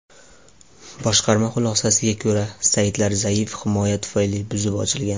Boshqarma xulosasiga ko‘ra, saytlar zaif himoya tufayli buzib ochilgan.